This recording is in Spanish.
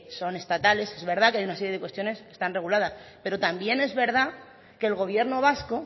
son estatales es verdad que hay una serie de cuestiones que están reguladas pero también es verdad que el gobierno vasco